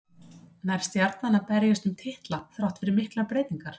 Nær Stjarnan að berjast um titla þrátt fyrir miklar breytingar?